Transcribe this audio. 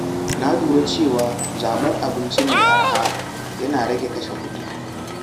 Na lura cewa zaɓar abinci mai araha yana rage kashe kuɗi.